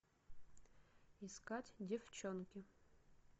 искать деффчонки